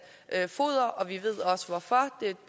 foder og vi ved også hvorfor det